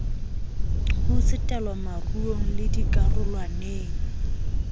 ho tsetelwa moruong le dikarolwaneng